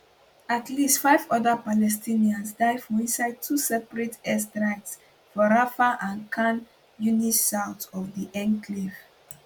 at least five oda palestinians die for inside two separate airstrikes for rafah and khan younis south of di enclave